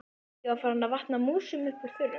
Ég var farin að vatna músum upp úr þurru!